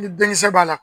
Ni denkisɛ b'a la